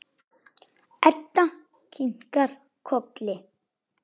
Edda kinkar kolli.